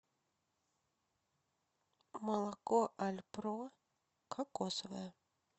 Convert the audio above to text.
молоко альпро кокосовое